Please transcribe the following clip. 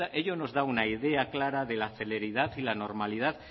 ello nos da una idea clara de la celeridad y la normalidad